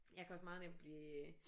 Jeg kan også meget nemt blive øh